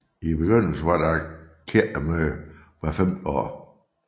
I begyndelsen var der kirkemøde hvert femte år